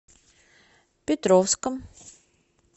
петровском